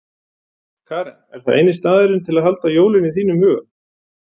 Karen: Er það eini staðurinn til að halda jólin í þínum huga?